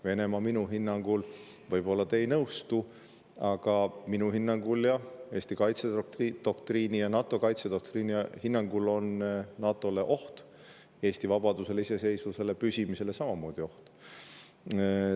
Venemaa on minu hinnangul – võib-olla te ei nõustu, aga see on minu hinnang ning Eesti kaitsedoktriini ja NATO kaitsedoktriini hinnang – NATO‑le oht, Eesti vabadusele, iseseisvusele, püsimajäämisele samamoodi oht.